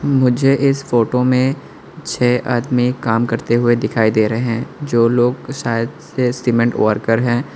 मुझे इस फोटो में छह आदमी काम करते हुए दिखाई दे रहे हैं जो लोग शायद से सीमेंट वर्कर हैं।